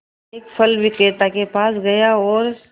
एक फल विक्रेता के पास गया और